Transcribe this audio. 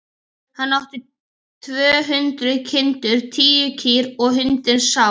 Hann átti tvö hundruð kindur, tíu kýr og hundinn Sám.